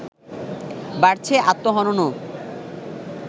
বাড়ছে আত্মহননও